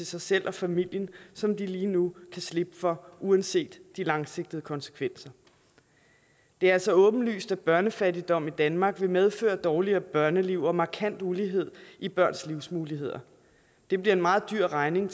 sig selv og familien som de lige nu kan slippe for uanset de langsigtede konsekvenser det er altså åbenlyst at børnefattigdom i danmark vil medføre dårligere børneliv og en markant ulighed i børns livsmuligheder det bliver en meget dyr regning